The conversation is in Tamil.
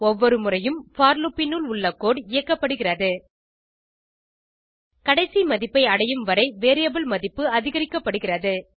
ஒவ்வொரு முறையும் போர் லூப் னுள் உள்ள கோடு இயக்கப்படுகிறது கடைசி மதிப்பை அடையும் வரை வேரியபிள் மதிப்பு அதிகரிக்கப்படுகிறது